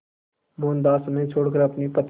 मोहनदास उन्हें छोड़कर अपनी पत्नी